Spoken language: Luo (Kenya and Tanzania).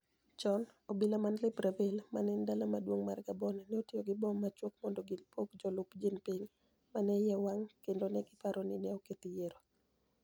Choni, obila mani Libreville, ma eni dala maduonig ' mar Gaboni, ni e otiyo gi mbom machuok monido gipog jolup Jeani Pinig ma ni e iye owanig ' kenido ni e paro nii ni e oketh yiero.